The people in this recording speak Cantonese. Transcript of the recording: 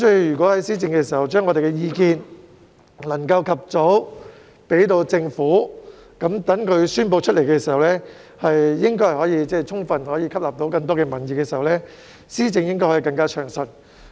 如果在政府施政時，我們能及早將意見提交政府，讓政府所宣布的政策可以充分吸納民意，政府的施政便應該可以更暢順。